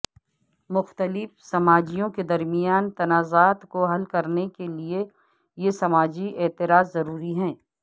مختلف سماجیوں کے درمیان تنازعات کو حل کرنے کے لئے یہ سماجی اعتراض ضروری ہے